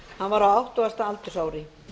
hann var á áttugasta aldursári